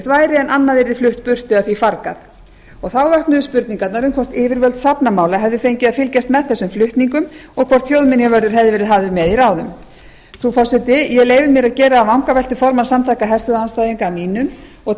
væri en annað yrði flutt burtu eða því fargað þá vöknuðu spurningarnar um hvort yfirvöld fornminjamála hefðu fengið að fylgjast með þessum flutningum og hvort þjóðminjavörður hefði verið hafður með í ráðum frú forseti ég leyfi mér að gera að vangaveltur formann samtaka herstöðvaandstæðinga að mínum og